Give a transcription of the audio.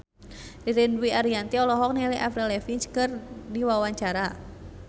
Ririn Dwi Ariyanti olohok ningali Avril Lavigne keur diwawancara